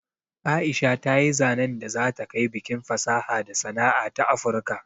Aisha ta yi zanen da za ta kai bikin fasaha da sana'a na afurka